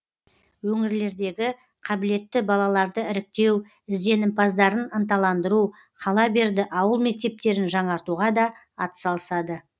өңірлердегі қабілетті балаларды іріктеу ізденімпаздарын ынталандыру қала берді ауыл мектептерін жаңартуға да атсалысады